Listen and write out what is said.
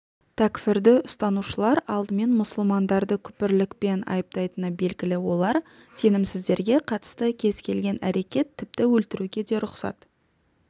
тәкфірді ұстанушылар алдымен мұсылмандарды күпірлікпен айыптайтыны белгілі олар сенімсіздерге қатысты кез-келген әрекет тіпті өлтіруге де рұқсат